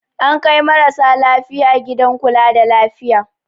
An kai marasa lafiya gidan kula da lafiya.